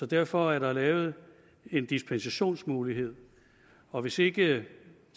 derfor er der lavet en dispensationsmulighed og hvis ikke